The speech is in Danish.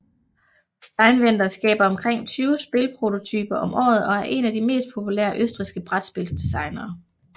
Steinwender skaber omkring tyve spilprototyper om året og er en af de mest populære østrigske brætspils designere